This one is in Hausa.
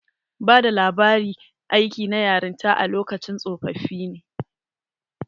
Bada labari aiki na yaranta a lokacin tsofoffi ne.